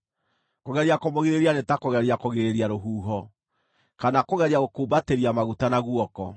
kũgeria kũmũgirĩrĩria nĩ ta kũgeria kũgirĩrĩria rũhuho, kana kũgeria gũkumbatĩria maguta na guoko.